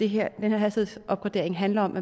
her hastighedsopgradering handler om